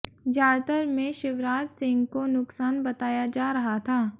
ज्यादातर में शिवराज सिंह को नुक्सान बताया जा रहा था